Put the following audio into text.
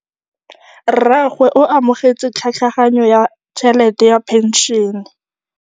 Rragwe o amogetse tlhatlhaganyô ya tšhelête ya phenšene.